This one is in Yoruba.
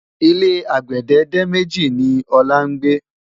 ilé àgbède dé méjì ni òla ngbe